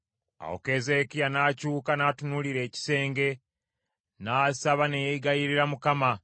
Awo Keezeekiya n’akyuka n’atunuulira ekisenge n’asaba ne yeegayirira Mukama